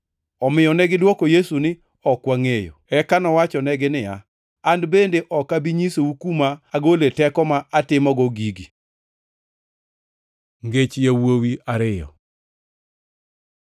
Omiyo negidwoko Yesu niya, “Ok wangʼeyo.” Eka nowachonegi niya, “An bende ok abi nyisou kuma agole teko ma atimogo gigi. Ngech yawuowi ariyo